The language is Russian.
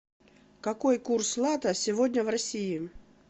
какой курс лата сегодня в россии